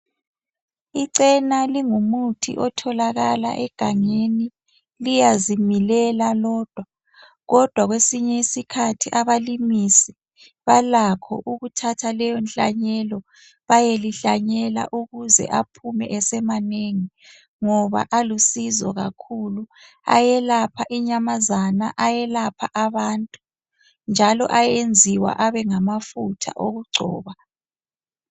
Icena lingumuthi otholakala egangeni. Liyazimilela lodwa. Kodwa kwesinye isikhathi, abalimisi balakho ukuthatha leyonhlanyelo, bayelihlanyela. Ukuze aphume esemanengi, ngoba alusizo kakhulu. Ayelapha inyamazana, ayelapha abantu, njalo ayenziwa abengamafutha okugcoba.